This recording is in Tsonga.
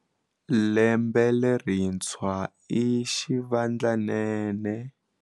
Lembe lerintshwa i xivandlanene.